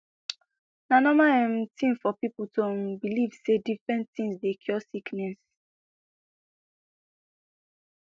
na normal um tin for pipo to um believe say different tins dey cure sickness